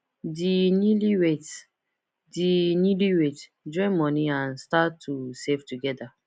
di newlyweds di newlyweds join money and start to save together